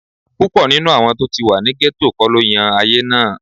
Púpọ̀ nínú àwọn tó ti wà ní gẹ́tò kọ́ ló yan ayé náà